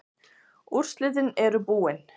Úrslitin eru búin.